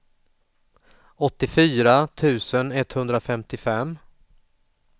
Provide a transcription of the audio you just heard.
åttiofyra tusen etthundrafemtiofem